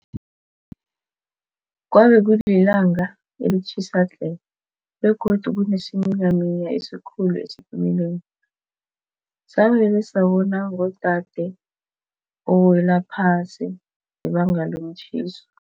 Kwabekulilanga elitjhisa tle begodu kunesiminyaminya esikhulu esitimeleni savele sabona ngodade owelaphasi ngebanga lomtjhiso.